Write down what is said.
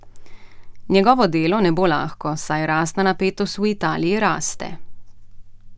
Njegovo delo ne bo lahko, saj rasna napetost v Italiji raste.